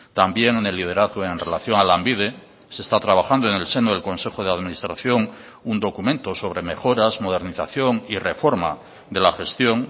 también en el liderazgo en relación a lanbide se está trabajando en el seno del consejo de administración un documento sobre mejoras modernización y reforma de la gestión